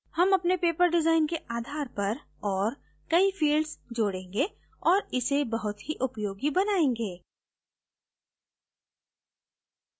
हम अपने paper design के आधार पर और कई fields जोडेंगे और इसे बहुत ही उपयोगी बनायेंगे